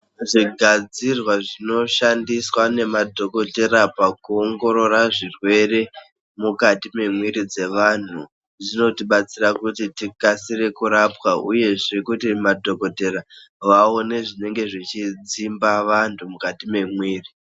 Zvigadzirwa zvinoshandiswa nemadhokotera pakuongorora zvirwere mukati memwiri dzevanhu, zvinotibatsira kuti tikasire kurapwa uyezve kuti madhokotera vaone zvinenge zvichidzimba vantu mukati memwiri.